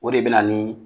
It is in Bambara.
O de bɛ na ni